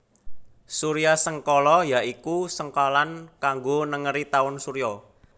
Suryasengkala ya iku sengkalan kanggo nengeri taun surya